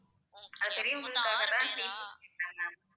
பெரியவங்களுக்கு தகுந்த மாதிரி